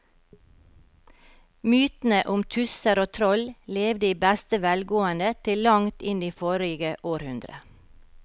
Mytene om tusser og troll levde i beste velgående til langt inn i forrige århundre.